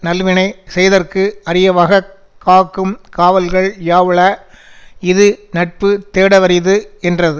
நல்வினை செய்தற்கு அரியவாகக் காக்கும் காவல்கள் யாவுள இது நட்பு தேடவரிது என்றது